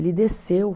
Ele desceu.